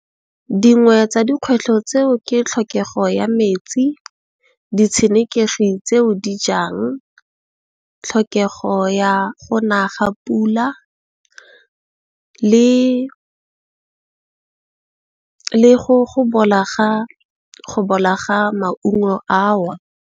Dingwe tsa dikgwetlho tseo ke tlhokego ya metsi, ditshenekegi tseo di jang tlhokego ya go naga pula le go bola ga maungo ao.